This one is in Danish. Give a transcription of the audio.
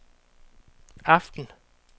aften